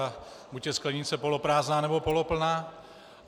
A buď je sklenice poloprázdná, nebo poloplná.